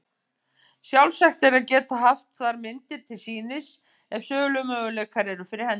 Sjálfsagt er að geta haft þar myndir til sýnis ef sölumöguleikar eru fyrir hendi.